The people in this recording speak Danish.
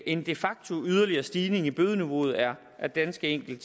en de facto yderligere stigning i bødeniveauet er er ganske enkelt